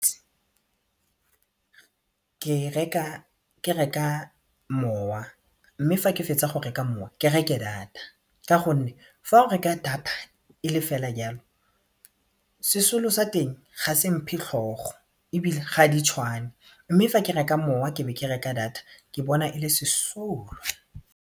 Ke reka mowa mme fa ke fetsa go mowa ke reke data ka gonne fa o reka data e le ka fela jalo sesolo sa teng ga se mphe tlhogo ebile ga di tshwane mme fa ke reka mowa ke be ke reka data ke bona e le sesolo.